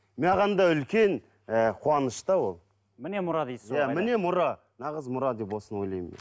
маған да үлкен ііі қуаныш та ол міне мұра дейсіз ғой иә міне мұра нағыз мұра деп осыны ойлаймын мен